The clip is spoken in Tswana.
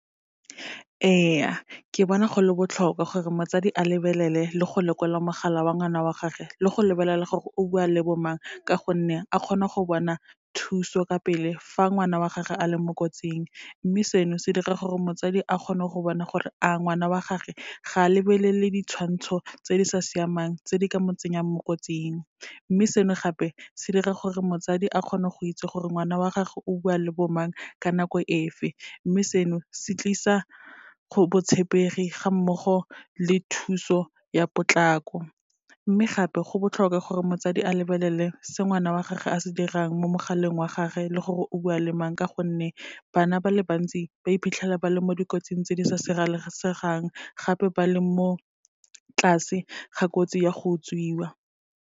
Ee, ke bona go le botlhokwa gore motsadi a lebelele le go lekola mogala wa ngwana wa gagwe, le go lebelela gore o bua le bo mang, ka gonne a kgona go bona thuso ka pele fa ngwana wa gagwe a le mo kotsing. Mme seno, se dira gore motsadi a kgone go bona gore a ngwana wa gagwe ga a lebelele ditshwantsho tse di sa siamang tse di ka mo tsenyang mo kotsing, mme seno gape se dira gore motsadi a kgone go itse gore ngwana wa gagwe o bua le bo mang, ka nako e fe, mme seno, se tlisa botshepegi ga mmogo le thuso ya potlako. Mme gape, go botlhokwa gore motsadi a lebelele se ngwana wa gagwe a se dirang mo mogaleng wa gage, le gore o bua le mang, ka gonne bana ba le bantsi ba iphitlhela ba le mo dikotsing tse di sa sireletsegang, gape ba le mo tlase ga kotsi ya go utswiwa.